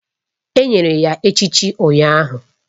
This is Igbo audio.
Enyere ya echichi ụnyahụ